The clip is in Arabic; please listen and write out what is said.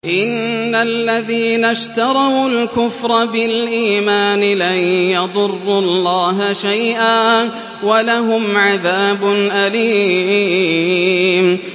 إِنَّ الَّذِينَ اشْتَرَوُا الْكُفْرَ بِالْإِيمَانِ لَن يَضُرُّوا اللَّهَ شَيْئًا وَلَهُمْ عَذَابٌ أَلِيمٌ